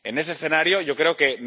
En ese escenario, yo creo que...